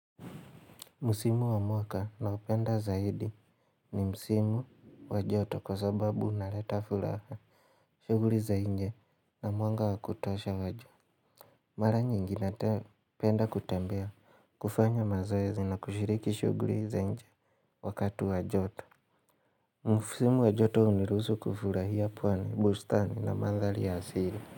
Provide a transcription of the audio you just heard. Musimu wa mwaka ninaopenda zaidi ni musimu wa joto kwa sababu unaleta furaha. Shughuli zaidi na mwanga wakutosha wa juu. Mara nyingi napenda kutembea kufanya mazoezi na kushiriki shughuli za inje wakati wa joto. Musimu wa joto huniruhusu kufurahia pwane, bustani na manthari ya asili.